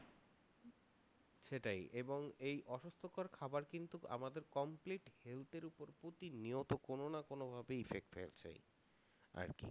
সেটাই এবং এই অসুস্থতার খাবার কিন্তু আমাদের complete health এর উপর প্রতিনিয়ত কোনো না কোনো ভাবেই effect ফেলছে আরকি